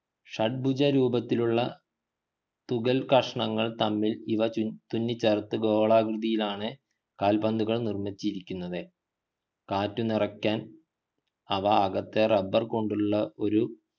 ഷഡ്ഭുജം രൂപത്തിലുള്ള തുകൽകഷ്ണങ്ങൾ തമ്മിൽ ഇവ തുന്നിച്ചേർത്തു ഗോളാകൃതിയിലക്കിയാണ് കൽപന്തുകൾ നിർമ്മിച്ചിരിക്കുന്നത് കാറ്റു നിറയ്ക്കാൻ അവക്കകത്ത് rubber കൊണ്ടുള്ള ഒരു